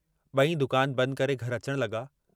बई दुकान बंदि करे घर अचण लगा।